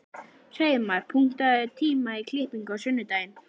Hreiðmar, pantaðu tíma í klippingu á sunnudaginn.